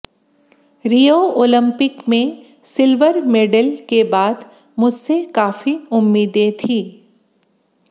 रियो Olympic में silver medal के बाद मुझसे काफी उम्मीदें थी